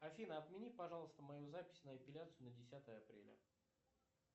афина отмени пожалуйста мою запись на эпиляцию на десятое апреля